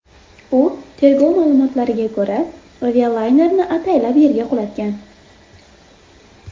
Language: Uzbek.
U, tergov ma’lumotlariga ko‘ra, avialaynerni ataylab yerga qulatgan.